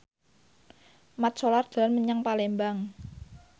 Mat Solar dolan menyang Palembang